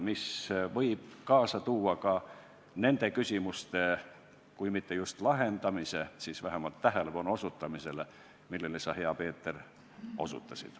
See võib kaasa tuua ka nende küsimuste kui mitte just lahendamise, siis vähemalt tähelepanu osutamise sellele, mida sa, hea Peeter, mainisid.